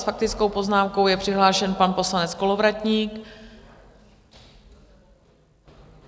S faktickou poznámkou je přihlášen pan poslanec Kolovratník.